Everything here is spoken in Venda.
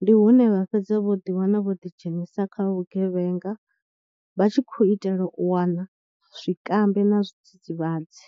ndi hune vha fhedza vho ḓiwana vho ḓidzhenisa kha vhugevhenga vha tshi khou itela u wana zwikambi na zwidzidzivhadzi.